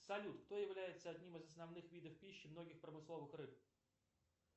салют кто является одним из основных видов пищи многих промысловых рыб